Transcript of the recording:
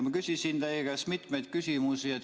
Ma küsisin teie käest mitu küsimust.